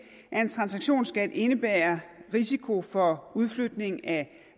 at en transaktionsskat indebærer risiko for udflytning af